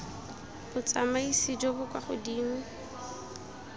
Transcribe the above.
botsamaisi jo bo kwa godimo